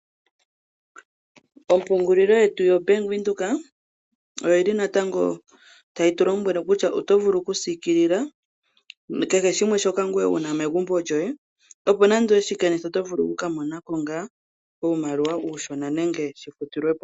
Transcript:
Ompungulilo yetu yoBank Windhoek oyi li natango tayi tu lombwele kutya oto vulu okusiikilila kehe shimwe shoka ngoye wu na megumbo lyoye, opo nando owe shi kanitha oto vulu ku ka mona ko ngaa uumaliwa uushona nenge shi futilwe po.